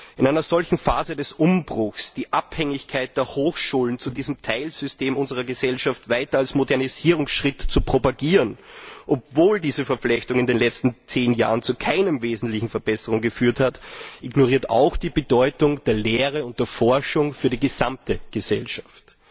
In einer solchen Phase des Umbruchs die Abhängigkeit der Hochschulen von diesem Teilsystem unserer Gesellschaft weiter als Modernisierungsschritt zu propagieren, obwohl diese Verflechtung in den letzten zehn Jahren zu keiner wesentlichen Verbesserung geführt hat, ignoriert auch die Bedeutung der Lehre und der Forschung für die gesamte Gesellschaft.